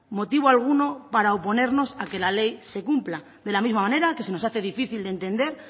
motivo alguno para oponernos a que la ley se cumpla de la misma manera que se nos hace difícil de entender